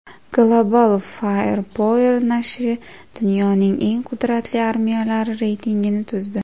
Global Firepower nashri dunyoning eng qudratli armiyalari reytingini tuzdi .